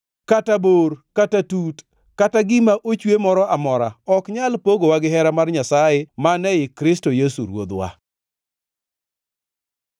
kata bor, kata tut, kata gima ochwe moro amora, ok nyal pogowa gihera mar Nyasaye mane ei Kristo Yesu Ruodhwa.